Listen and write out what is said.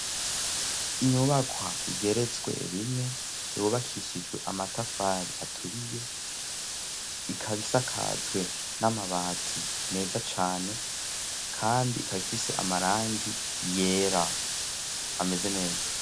inyubakwa igeretswe rimwe yubakishijwe amatafari aturiye ikabisakajwe n'amabati meza cane kandi ikabifise amarangi yera ameze neza.